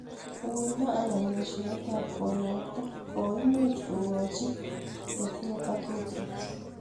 Uindo anan eshoet ap konakta ,koimuch kokoch chii netinye parkinson's